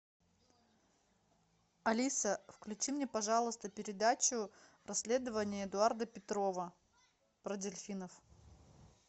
алиса включи мне пожалуйста передачу расследование эдуарда петрова про дельфинов